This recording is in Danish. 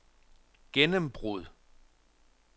gennembrud